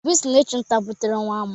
Obi si n'ịchu nta butere nwa amụ.